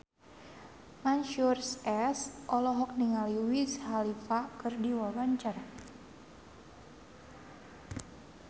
Mansyur S olohok ningali Wiz Khalifa keur diwawancara